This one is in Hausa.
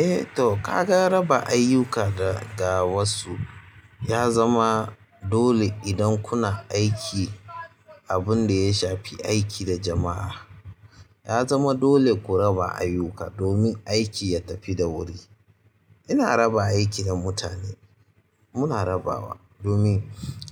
Eh to ka ga raba ayyuka ga ga wasu ya zama dole idan kuna aiki. Abunda ya shafi aiki da jamaa yazama dole ku raba ayyuka domin aiki ya tafi da wuri ina raba aiki da mutane, muna rabawa domin